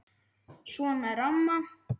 Svona er amma.